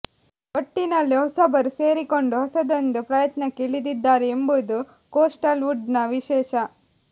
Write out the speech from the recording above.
ಒಟ್ಟಿನಲ್ಲಿ ಹೊಸಬರು ಸೇರಿಕೊಂಡು ಹೊಸದೊಂದು ಪ್ರಯತ್ನಕ್ಕೆ ಇಳಿದಿದ್ದಾರೆ ಎಂಬುದು ಕೋಸ್ಟಲ್ವುಡ್ನ ವಿಶೇಷ